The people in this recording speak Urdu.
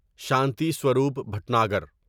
شانتی سوروپ بھٹناگر